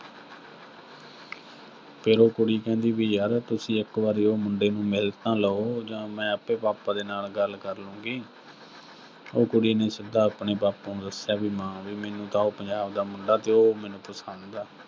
ਫਿਰ ਉਹ ਕੁੜੀ ਕਹਿੰਦੀ ਵੀ ਯਰ, ਤੁਸੀਂ ਇੱਕ ਵਾਰੀ ਉਹ ਮੁੰਡੇ ਨੂੰ ਮਿਲ ਤਾਂ ਲਓ, ਜਾਂ ਮੈਂ ਆਪੇ ਪਾਪਾ ਦੇ ਨਾਲ ਗੱਲ ਕਰ ਲਊਂਗੀ, ਉਹ ਕੁੜੀ ਨੇ ਸਿੱਧਾ ਆਪਣੇ ਬਾਪੂ ਨੂੰ ਦੱਸਿਆ ਵੀ, ਮੈਨੂੰ ਤਾਂ ਉਹ ਪੰਜਾਬ ਦਾ ਮੁੰਡਾ ਜੋ, ਉਹ ਮੈਨੂੰ ਪਸੰਦ ਆ।